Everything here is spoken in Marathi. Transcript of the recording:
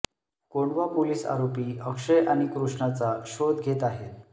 कोंढवा पोलीस आरोपी अक्षय आणि कृष्णाचा शोध घेत आहेत